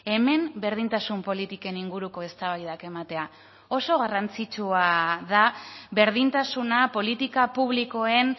hemen berdintasun politiken inguruko eztabaidak ematea oso garrantzitsua da berdintasuna politika publikoen